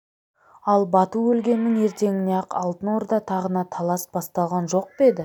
ал бату өлгеннің ертеңіне-ақ алтын орда тағына талас басталған жоқ па еді